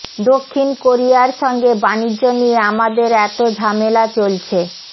দক্ষিণ কোরিয়ার সঙ্গে বাণিজ্য নিয়ে আমাদের এত ঝামেলা চলছে